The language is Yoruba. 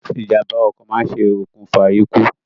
Ìjàmbá ọkọ̀ máa ṣe òkùnfà ikú